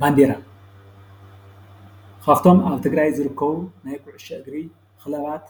ባንዴራ ካብቶም ኣብ ትግራይ ዝርከቡ ናይ ኩዕሾ እግሪ ክለባት